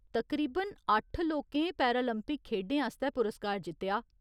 तकरीबन अट्ठ लोकें पैरालिंपिक खेढें आस्तै पुरस्कार जित्तेआ।